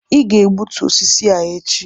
ị ga-egbutu osisi a echi!